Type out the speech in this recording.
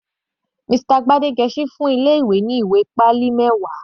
Mr Gbadegesin fún ilé ìwé ní ìwé pálí mẹwa.